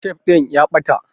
Tef ɗin ya ɓata